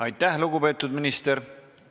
Aitäh, lugupeetud minister!